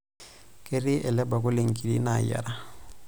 Ketii ele bakuli nkiri naayiara.